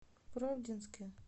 правдинске